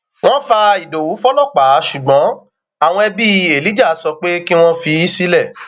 wọn fa ìdòwú fọlọpàá ṣùgbọn àwọn ẹbí elijah sọ pé kí wọn fi í sílẹ